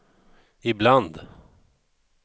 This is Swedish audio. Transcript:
ibland